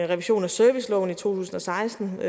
revisionen af serviceloven i to tusind og seksten var